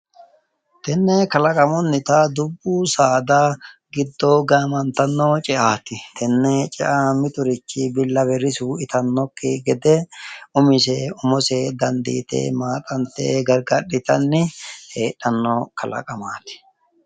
Tenne kalaqamunnita dubbu saada giddo gaamantanno ce'aati. Tenne ce'a mitiri bullawe risu itannokki gede umise umose dandiite heedhanno kalaqamaati.